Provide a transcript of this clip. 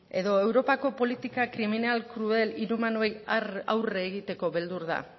edo europako politika kriminal krudel inhumanoei aurre egiteko beldur da